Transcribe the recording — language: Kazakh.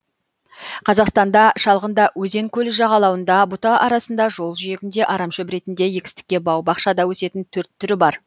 қазақстанда шалғында өзен көл жағалауында бұта арасында жол жиегінде арамшөп ретінде егістікте бау бақшада өсетін төрт түрі бар